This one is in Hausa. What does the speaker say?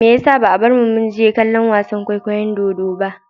Me yasa ba a bar mu mu je kallon wasan kwaikwayo na dodo ba?